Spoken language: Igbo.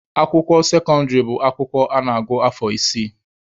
Akwụkwọ sekọndịrị bụ akwụkwọ a na-agụ afọ isii.